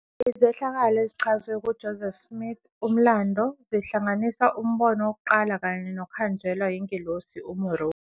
Izehlakalo ezichazwe kuJoseph Smith-Umlando zihlanganisa uMbono WokuQala kanye nokuhanjelwa yingelosi uMoroni